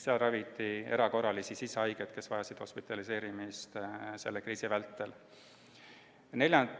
Seal raviti erakorralisi sisehaigeid, kes vajasid selle kriisi vältel hospitaliseerimist.